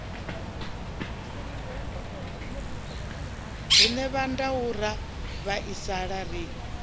rine vhondau ra vhaisala ri